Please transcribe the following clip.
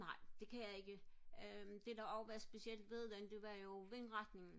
nej det kan jeg ikke øh det der også var specielt ved den det var jo vindretningen